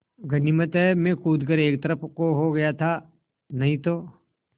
गनीमत है मैं कूद कर एक तरफ़ को हो गया था नहीं तो